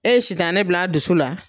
E ye sitanɛ bila a dusu la.